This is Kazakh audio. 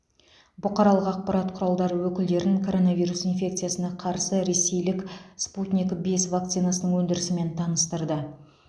бұқаралық ақпарат құралдары өкілдерін коронавирус инфекциясына қарсы ресейлік спутник бес вакцинасының өндірісімен таныстырды